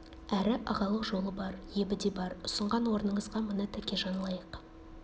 әрі ағалық жолы бар ебі де бар ұсынған орныңызға мына тәкежан лайық